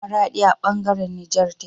maradi a bangaran Niger tace